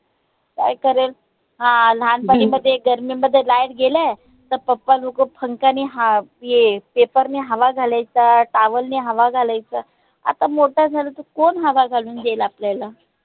काय करेल? आह लहानपणी मध्ये गर्मीमध्ये light गेले का papa लोक पंख्यानी हा ये paper नी हवा घालायचा, towel नी हवा घालायचा आता मोट झालं तर कोण हवा घालून देईल आपल्याला?